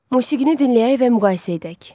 Musiqini dinləyək və müqayisə edək.